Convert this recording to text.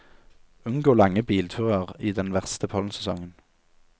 Unngå lange bilturer i den verste pollensesongen.